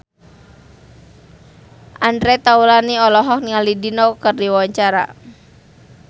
Andre Taulany olohok ningali Dido keur diwawancara